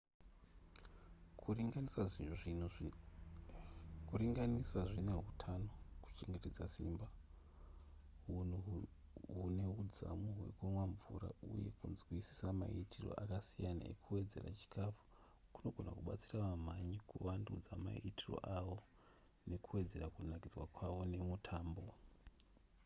kuringanisa zvine hutano kuchengeta simba hunhu hune hudzamu hwekunwa mvura uye kunzwisisa maitiro akasiyana ekuwedzeredza chikafu kunogona kubatsira vamhanyi kuvandudza maitiro avo uye nekuwedzera kunakidzwa kwavo nemutambo